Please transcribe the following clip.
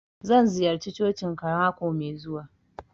Zan ziyarce cocin ka mako mai zuwa.